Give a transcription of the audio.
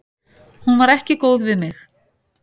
Hún var ekki góð við mig.